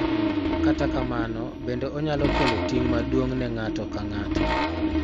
Kata kamano, bende onyalo kelo ting� maduong� ne ng�ato ka ng�ato,